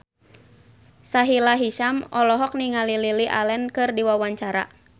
Sahila Hisyam olohok ningali Lily Allen keur diwawancara